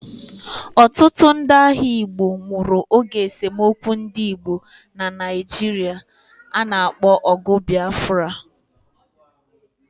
Otutu ndi agha Igbo nwuru oge esomokwu ndi Igbo na Naijiri ana akpo ogu bBafra